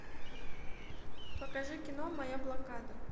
покажи кино моя блокада